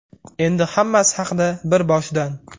Endi hammasi haqida bir boshdan.